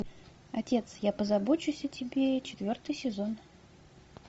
отец я позабочусь о тебе четвертый сезон